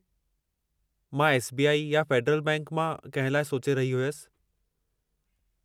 मां S. B. I. या Federal Bank मां कंहिं लाइ सोचे रही हुयसि।